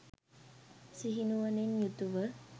සිහි නුවණින් යුතුව